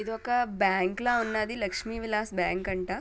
ఇది ఒక బ్యాంక్ లా ఉన్నది లక్ష్మి విలాస్ బ్యాంక్ అంట.